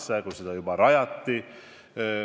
Seda juba siis, kui seda kanalit rajati.